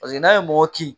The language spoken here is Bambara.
Paseke n'a ye mɔgɔ kin